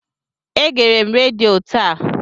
Egere m redio taa.